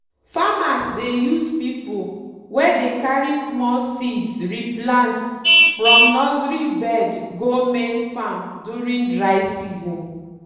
farmers dey use pipiu wey dey carry small seeds re plant from nursery bed go main farm during dry season.